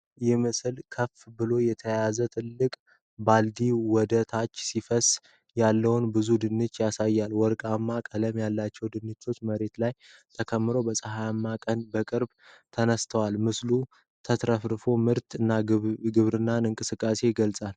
ይህ ምስል ከፍ ብሎ ከተያዘ ትልቅ ባልዲ ወደ ታች ሲፈስስ ያለውን ብዙ ድንች ያሳያል። ወርቃማ ቀለም ያለው ድንቹ መሬት ላይ ተከምሮ በፀሐያማ ቀን በቅርበት ተነሥቷል። ምስሉ ተትረፍራፊ ምርት እና የግብርና እንቅስቃሴን ይገልጻል።